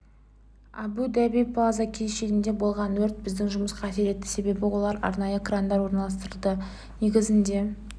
абу даби плаза кешенінде болған өрт біздің жұмысқа әсер етті себебі олар арнайы крандар орналастырды негізінде